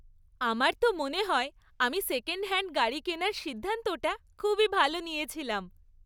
আমার তো মনে হয় আমি সেকেন্ড হ্যান্ড গাড়ি কেনার সিদ্ধান্তটা খুবই ভালো নিয়েছিলাম।